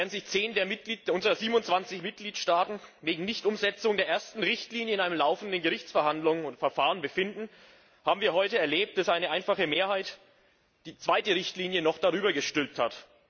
Während sich zehn der 27 Mitgliedstaaten wegen Nichtumsetzung der ersten Richtlinie in einem laufenden Gerichtsverfahren befinden, haben wir heute erlebt, dass eine einfache Mehrheit die zweite Richtlinie noch darüber gestülpt hat.